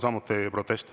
Samuti protest.